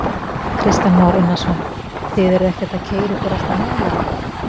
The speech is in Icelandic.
Kristján Már Unnarsson: Þið eruð ekkert að keyra ykkur alltof neðarlega?